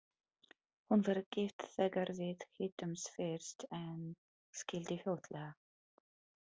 Hún var gift þegar við hittumst fyrst en skildi fljótlega.